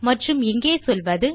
மற்றும் இங்கே சொல்வது